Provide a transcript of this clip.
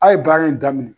A' ye baara in daminɛ